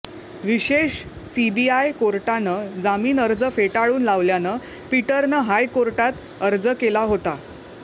विशेष सीबीआय कोर्टानं जामीन अर्ज फेटाळून लावल्यानं पीटरनं हायकोर्टात अर्ज केला होता